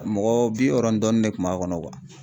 Mɔgɔ bi wɔɔrɔ dɔɔni de kun b'a kɔnɔ